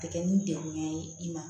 A tɛ kɛ ni degunya ye i ma